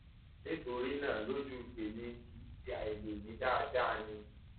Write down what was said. nítorí náà lójú tèmi kì í ṣe àìlèmí dáadáa ni